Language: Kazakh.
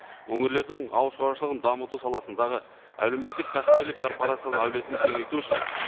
өңірлердің ауыл шаруашылығын дамыту саласындағы әлеуметтік кәсіпкерлік корпорацияның әулетін кеңейту үшін